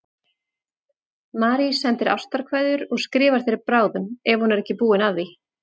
Marie sendir ástarkveðjur og skrifar þér bráðum ef hún er ekki búin að því.